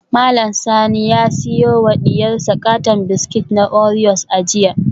Mallam Sani ya siyo wa diyarsa katon biskit na oreos a jiya